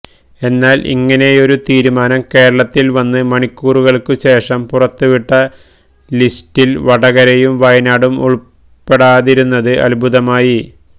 എന്നാല് ഇങ്ങനെയൊരു തീരുമാനം കേരളത്തില് വന്ന് മണിക്കൂറുകള്ക്കു ശേഷം പുറത്തുവിട്ട ലിസ്റ്റില് വടകരയും വയനാടും ഉള്പ്പെടാതിരുന്നത് അത്ഭുതമായി